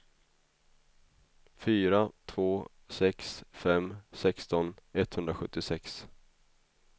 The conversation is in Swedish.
fyra två sex fem sexton etthundrasjuttiosex